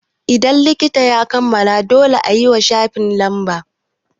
Idan littafin ya kammala, dole wani yayiwa shafikan lamba